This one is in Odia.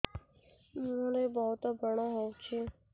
ମୁଁହରେ ବହୁତ ବ୍ରଣ ହଉଛି